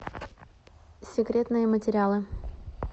секретные материалы